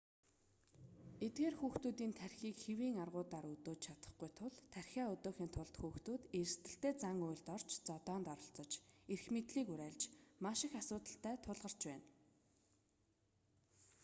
эдгээр хүүхдүүдийн тархиийг хэвийн аргуудаар өдөөж чадахгүй тул тархиа өдөөхийн тулд хүүхдүүд эрсдэлтэй зан үйлд орж зодоонд оролцож эрх мэдлийг уриалж маш их асуудалтай тулгарч байдаг